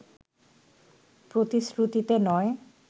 প্রতিশ্রুতিতে নয়